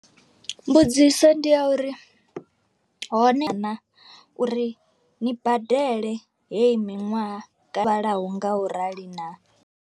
Mbudziso ndi ya uri hone na uri ni badele heyi miṅwaha kana vhalaho nga u rali naa?